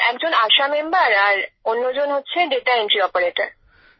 একজন আশা মেম্বার আর অন্যজন ডাটা এনট্রি অপারেটার